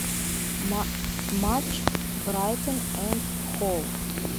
матч брайтон энд хоув